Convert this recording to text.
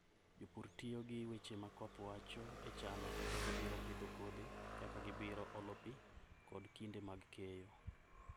Jopur tiyo gi weche ma koth wacho e chano kaka gibiro pidho kodhi, kaka gibiro olo pi, koda kinde mag keyo.